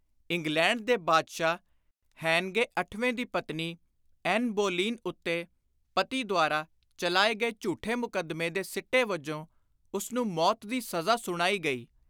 England ਦੇ ਬਾਦਸ਼ਾਹ ਹੈਨਗੇ ਅਠਵੇਂ ਦੀ ਪਤਨੀ, ਐਨ ਬੋਲੀਨ, ਉੱਤੇ ਪਤੀ ਦੁਆਰਾ ਚਲਾਏ ਗਏ ਝੁਠੇ ਮੁਕੱਦਮੇ ਦੇ ਸਿੱਟੇ ਵਜੋਂ ਉਸਨੂੰ ਮੌਤ ਦੀ ਸਜ਼ਾ ਸੁਣਾਈ ਗਈ।